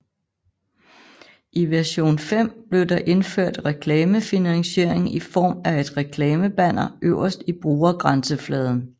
I version 5 blev der indført reklamefinansiering i form af et reklamebanner øverst i brugergrænsefladen